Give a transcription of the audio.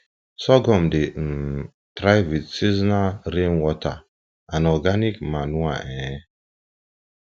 sorghum dey um thrive with seasonal rainwater and organic manure um